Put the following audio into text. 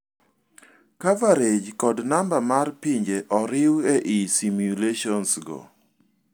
Coverage kod namba mar pinje oriu ei simulations go.